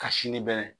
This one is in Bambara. Ka sini bɛn